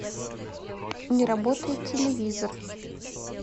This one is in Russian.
не работает телевизор